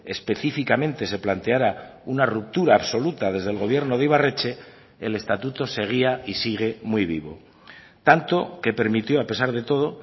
específicamente se planteara una ruptura absoluta desde el gobierno de ibarretxe el estatuto seguía y sigue muy vivo tanto que permitió a pesar de todo